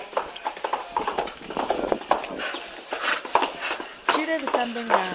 tshile ri ṱamba ngao ra